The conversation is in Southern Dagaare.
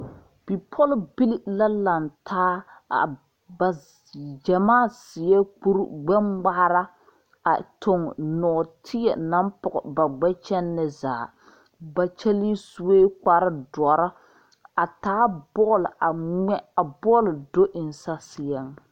Bipɔlbili la laŋtaa a ba gyamaa seɛɛ kure gbɛ ngmaara a tuŋ nɔɔteɛ naŋ pɔge ba gbɛ kyɛne zaa ba kyɛlee suee kpare dɔrɔ a taa bɔl a ngmɛ a bɔl do eŋ saseɛŋ.